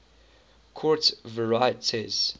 quartz varieties